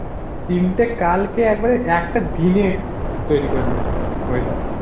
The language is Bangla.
তিনটে কাল কে একেবারে একটা দিন এ তৈরী করে দিচ্ছে weather.